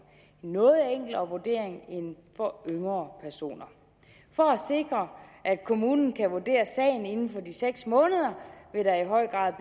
noget enklere vurdering end for yngre personer for at sikre at kommunen kan vurdere sagen inden for de seks måneder vil der i høj grad